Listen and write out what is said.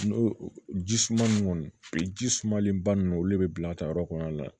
N'o ji suma ninnu ji sumalen ba nunnu olu de bɛ bila a ta yɔrɔ kɔnɔna na